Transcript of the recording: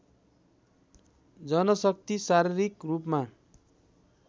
जनशक्ति शारीरिक रूपमा